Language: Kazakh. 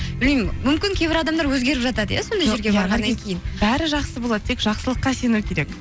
білмеймін мүмкін кейбір адамдар өзгеріп жатады иә сондай бәрі жақсы болады тек жақсылыққа сену керек